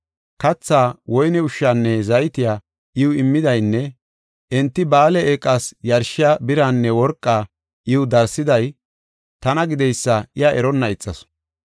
Kathaa, woyne ushshaanne zaytiya iw immidaynne enti Ba7aale eeqas yarshiya biraanne worqaa iw darsiday tana gideysa iya eronna ixasu.